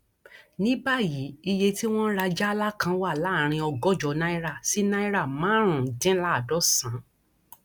ní báyìí iye tí wọn ń rà jálá kan wà láàrin ọgọjọ náírà sí náírà márùnúndínláàádọsànán